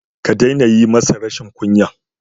Ka daina yi masa rashin kunya.